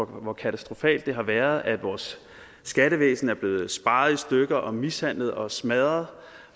hvor katastrofalt det har været at vores skattevæsen er blevet sparet i stykker og mishandlet og smadret